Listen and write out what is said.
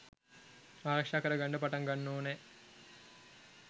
ආරක්ෂා කර ගන්ඩ පටන් ගන්ඩ ඕනා.